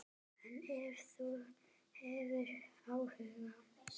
En ef þú hefur áhuga.